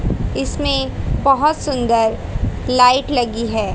इसमें बहोत सुंदर लाइट लगी है।